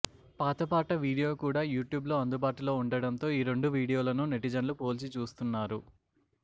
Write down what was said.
పాత పాట వీడియో కూడా యూట్యూబ్ లో అందుబాటులో ఉండడంతో ఈ రెండు వీడియోలను నెటిజన్లు పోల్చిచూస్తున్నారు